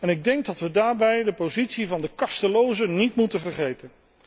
Ik denk dat wij daarbij de positie van de kastelozen niet moeten vergeten.